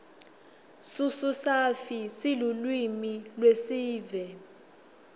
sususafi silulwimi lweesive